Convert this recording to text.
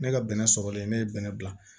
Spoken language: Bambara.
Ne ka bɛnɛ sɔrɔlen ne ye bɛnɛ bila